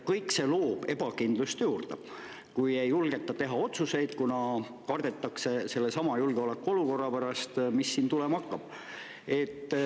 Kõik see loob ebakindlust juurde, kui ei julgeta teha otsuseid, kuna kardetakse sellesama julgeolekuolukorra pärast, mis siin olema hakkab.